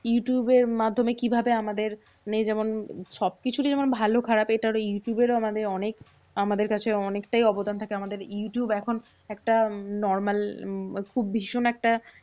youtube এর মাধ্যমে কিভাবে? আমাদের মেয়ে যেমন সবকিছুরই যেমন, ভালো খারাপ এটারও youtube এরও আমাদের অনেক আমাদের কাছে অনেকটাই অবদান থাকে। আমাদের youtube এখন একটা normal উম ওর খুব ভীষণ একটা